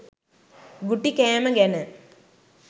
ගුටි කෑම ගැන